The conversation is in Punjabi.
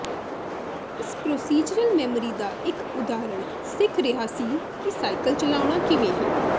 ਇਸ ਪਰੋਸੀਜਰਲ ਮੈਮੋਰੀ ਦਾ ਇੱਕ ਉਦਾਹਰਣ ਸਿੱਖ ਰਿਹਾ ਸੀ ਕਿ ਸਾਈਕਲ ਚਲਾਉਣਾ ਕਿਵੇਂ ਹੈ